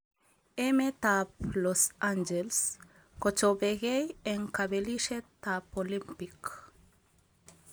Emet ab Los angeles kochopekei eng kabelishet ab Olimpik.